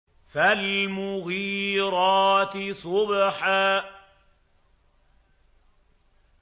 فَالْمُغِيرَاتِ صُبْحًا